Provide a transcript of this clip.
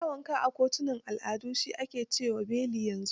Dan wanka a kotunan al'ada shi ne ake ce wa bailiff yanzu.